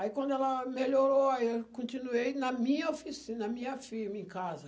Aí quando ela melhorou, eu continuei na minha oficina, na minha firma em casa.